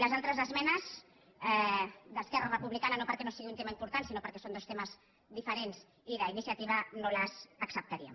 les altres esmenes d’esquerra republicana no perquè no sigui un tema important sinó perquè són dos temes diferents i d’iniciativa no les acceptaríem